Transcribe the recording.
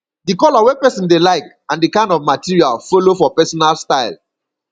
di color wey person dey like and di kind of material follow for personal style